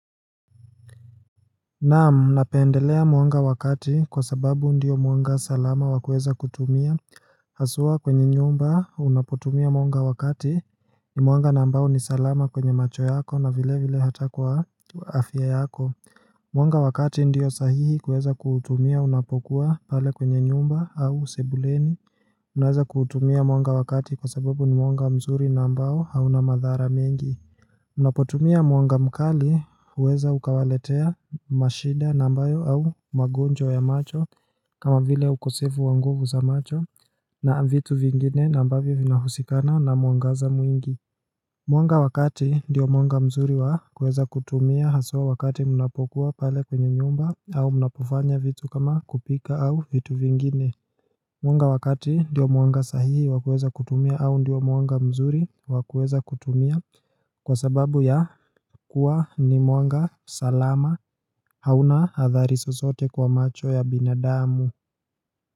Naam napendelea mwanga wa kati kwa sababu ndiyo mwanga salama wakueza kutumia Hasua kwenye nyumba unapotumia mwanga wakati ni mwanga na ambao ni salama kwenye macho yako na vile vile hata kwa afya yako Mwanga wakati ndiyo sahihi kuweza kuutumia unapokuwa pale kwenye nyumba au sebuleni Unaweza kuutumia mwanga wakati kwa sababu ni mwanga mzuri nambao hauna madhara mengi Mnapotumia muanga mkali huweza ukawaletea mashida na ambayo au magonjwa ya macho kama vile ukosevu wa nguvu za macho na vitu vingine na ambavyo vinahusikana na muangaza mwingi muanga wakati diyo muanga mzuri wa kueza kutumia haswa wakati mnapokuwa pale kwenye nyumba au mnapofanya vitu kama kupika au vitu vingine muanga wakati ndiyo muanga sahihi wakueza kutumia au ndiyo muanga mzuri wakueza kutumia kwa sababu ya kuwa ni muanga salama hauna athari zozote kwa macho ya binadamu.